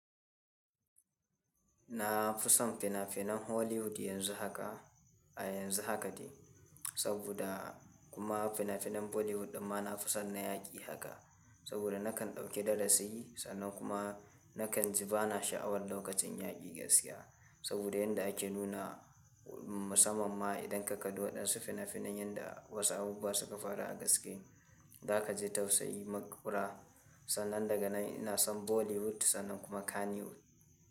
Na fi son fina-finan Hollywood yanzu haka a yanzu haka ce saboda kuma fina-finan Bollywood kuma na fi son na yaƙi haka saboda nakan ɗauki darasi sannan kuma nakan ji bana sha'awar lokacin yaƙi gaskiya saboda yanda ake nuna musamamma idan kakan duwa ɗan su fina-finan yanda wasu abubuwa suka faru a gaske zaka ji tausayi makura sannan daga nan ina son Bollywood sannan kuma Kannywood.